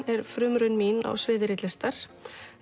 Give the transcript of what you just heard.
er frumraun mín á sviði ritlistar